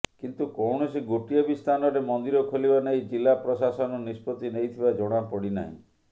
କିନ୍ତୁ କୌଣସି ଗୋଟିଏ ବି ସ୍ଥାନରେ ମନ୍ଦିର ଖୋଲିବା ନେଇ ଜିଲ୍ଲା ପ୍ରଶାସନ ନିଷ୍ପତ୍ତି ନେଇଥିବା ଜଣା ପଡ଼ିନାହିଁ